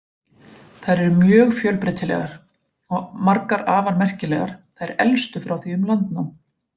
Þær eru mjög fjölbreytilegar og margar afar merkilegar, þær elstu frá því um landnám.